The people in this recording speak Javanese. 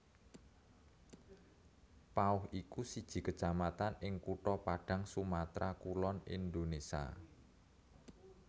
Pauh iku siji kecamatan ing kutha Padang Sumatra Kulon Indonésia